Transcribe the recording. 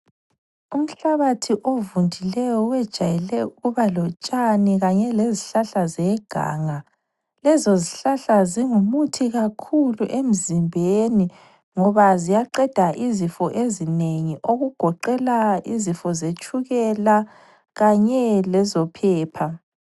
Umhlabathi ovundileyo wejayele ukuba lotshani kanye lezizihlahla zeganga. Lezozihlahla zingumuthi kakhulu emzimbeni ngoba ziyaqeda izifo ezinengi okugoqela izifo zetshukela kanye lezophepha.